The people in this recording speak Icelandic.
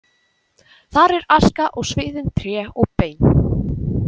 Þar er aska og sviðin tré og bein.